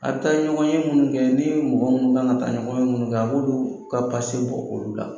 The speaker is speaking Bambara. A bi taa ɲɔgɔnye munnu kɛ ni mɔgɔ minnu kan ka taa ɲɔgɔnye munnu kɛ a b'olu ka bɔ olu la.